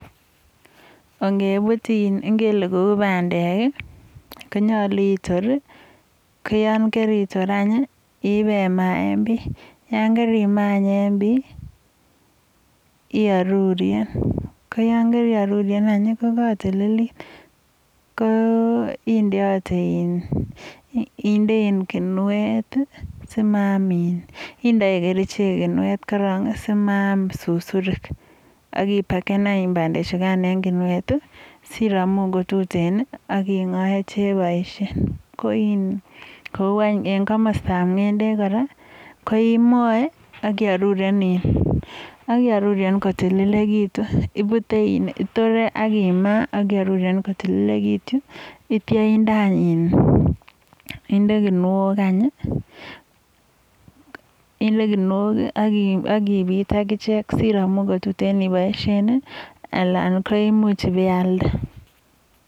Ongebuti in ongele kou pandek, konyolu otor, koyon karitor any, ibema enbii. Yon karimaa en bii, iaruryen, ko yon kari aruryen anyun, kotililit, inde kinuet simaam in, indoi kerichek kinuet korok simaam susurik. Aki paken anyun pandechukan eng kinuet sinemun ko tuteen ak ing'oe cheboishen. En komostap ny'endek ko imoe ak iaruryen kotililekitu. Itore ak imaa ak iaruryen kotililekitu, neityo inde kinuok anyun. inde kinuok ak ibit akichek siramu kotuteen anan ko imu h ibeialde.